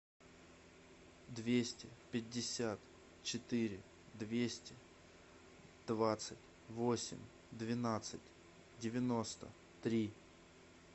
двести пятьдесят четыре двести двадцать восемь двенадцать девяносто три